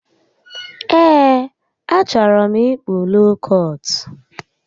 Ee, achọrọ m ịkpụ lookọt